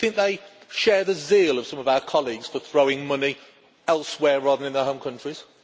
Do you think they share the zeal of some of our colleagues for throwing money elsewhere rather than in their home countries?